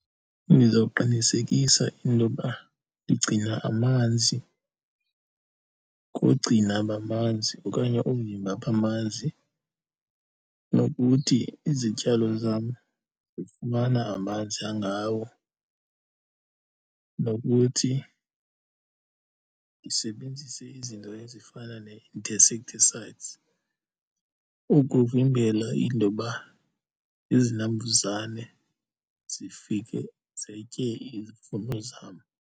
Ndizawuqinisekisa intoba ndigcina amanzi koogcina bamanzi okanye oovimba bamanzi, nokuthi izityalo zam zifumana amanzi angawo, nokuthi ndisebenzise izinto ezifana nee-insecticides ukuvimbela intoba izinambuzane zifike zitye izivuno zam.